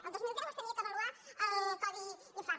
el dos mil deu s’havia d’avaluar el codi infart